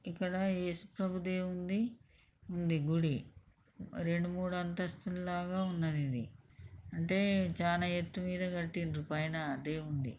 ఇక్కడ యేసు ప్రభు దేవుడి ది ఉంది గుడి రెండు మూడు అంతస్తులాగా వున్నది ఇది అంటే చానా ఎత్తు మీద కటిండ్రు పైన దేవుడ్ని .